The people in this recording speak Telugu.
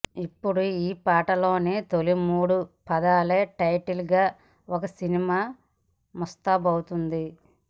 ఇప్పుడు ఈ పాటలోని తోలి మూడు పదాలే టైటిల్ గా ఒక సినిమా ముస్తాబవుతోంది